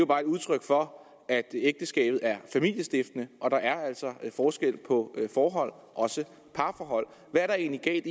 bare et udtryk for at ægteskabet er familiestiftende og at der altså er forskel på forhold også parforhold hvad er der egentlig galt